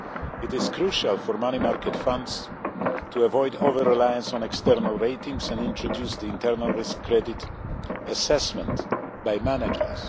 It is crucial for money market funds to avoid over reliance on external ratings and introduce the internal risk credit assessment by managers.